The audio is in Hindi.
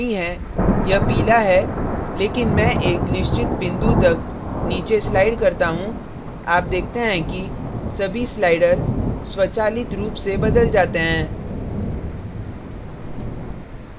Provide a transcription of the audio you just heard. यह नीला नहीं है यह पीला है लेकिन मैं एक निश्चित बिंदु तक नीचे slide करता हूँ आप देखते हैं कि सभी sliders स्वचालित रूप से बदल जाते हैं